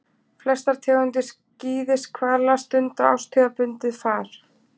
Flestar tegundir skíðishvala stunda árstíðabundið far.